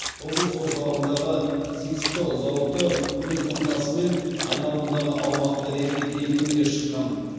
облыс орталығындағы зиксто зауыты өз ынтасымен айналадағы аумақты ретке келтіруге шыққан